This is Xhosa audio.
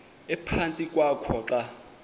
ephantsi kwakho xa